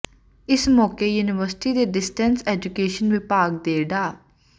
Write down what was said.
ਇਸ ਮੌਕੇ ਯੂਨੀਵਰਸਿਟੀ ਦੇ ਡਿਸਟੈਂਸ ਐਜੂਕੇਸ਼ਨ ਵਿਭਾਗ ਦੇ ਡਾ